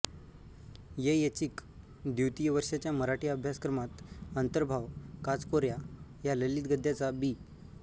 ए एचीक द्वितीय वर्षाच्या मराठी अभ्यास क्रमात अंतर्भाव काचकोऱ्या या ललित गद्याचा बी